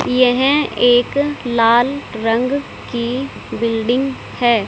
यहे एक लाल रंग की बिल्डिंग है।